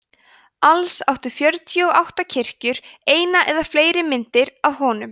alls áttu fjörutíu og átta kirkjur eina eða fleiri myndir af honum